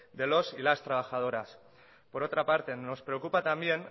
de los y las trabajadoras por otra parte nos preocupa también